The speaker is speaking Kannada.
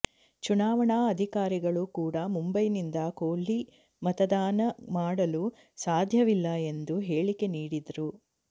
ಚುನಾವಣಾ ಅಧಿಕಾರಿಗಳು ಕೂಡ ಮುಂಬೈನಿಂದ ಕೊಹ್ಲಿ ಮತದಾನ ಮಾಡಲು ಸಾಧ್ಯವಿಲ್ಲ ಎಂದು ಹೇಳಿಕೆ ನೀಡಿದ್ರು